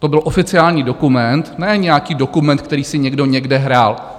To byl oficiální dokument, ne nějaký dokument, který si někdo někde hrál.